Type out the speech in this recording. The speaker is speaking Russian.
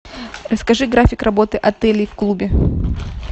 расскажи график работы отелей в клубе